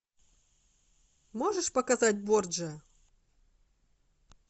можешь показать борджиа